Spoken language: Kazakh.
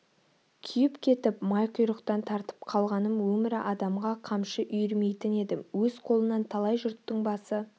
күйіп кетіп май құйрықтан тартып қалғаным өмірі адамға қамшы үйірмейтін едім өз қолынан талай жұрттың басы